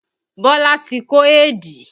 Bọlá tí kó éèdì